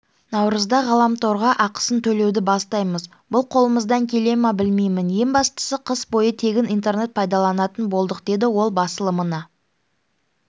наурызда ғаламторға ақысын төлеуді бастаймыз бұл қолымыздан келе ме білмеймін ең бастысы қыс бойы тегін интернет пайдаланатын болдық деді ол басылымына